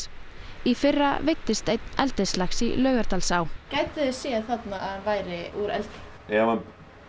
í fyrra veiddist einn eldislax í Laugardalsá gætuð þið séð þarna að væri úr eldi ef hann